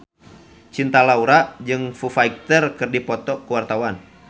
Cinta Laura jeung Foo Fighter keur dipoto ku wartawan